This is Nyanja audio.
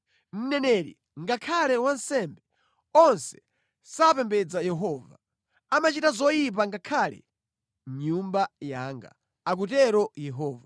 “Mneneri ngakhale wansembe onse sapembedza Yehova. Amachita zoyipa ngakhale mʼnyumba yanga,” akutero Yehova.